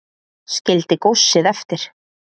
Skildi góssið eftir